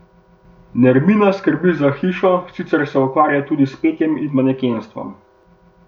Nermina skrbi za hišo, sicer se ukvarja tudi s petjem in manekenstvom.